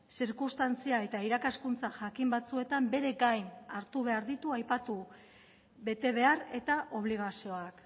zirkunstantzia eta irakaskuntza jakin batzuetan bere gain hartu behar ditu aipatu betebehar eta obligazioak